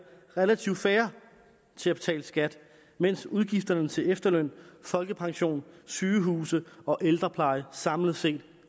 relativt færre til at betale skat mens udgifterne til efterløn folkepension sygehuse og ældrepleje samlet set